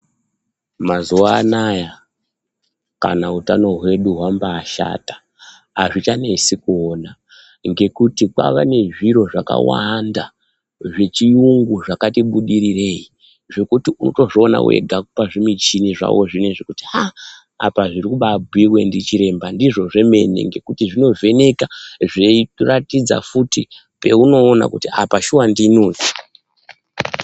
Mazuva anaya kana utano hwedu hwambashata, hazvichanesi kuona ngekuti kwava nezviro zvakawanda, zvechiyungu zvakati budirirei, zvekuti unotozviona wega pazvimichini zvavo zvinezvi kuti haa apa zviri kubabhuyiwe ndichiremba ndizvo zvemene ngekuti zvinovheneka zveiratidza futi peunoona kuti apa shuwa ndini uyu.